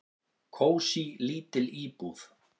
"""Kósí, lítil íbúð."""